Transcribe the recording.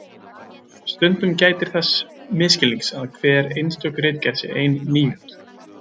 Stundum gætir þess misskilnings að hver einstök ritgerð sé ein níund.